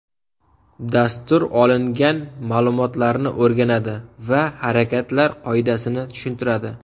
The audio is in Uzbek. Dastur olingan ma’lumotlarni o‘rganadi va harakatlar qoidasini tushuntiradi.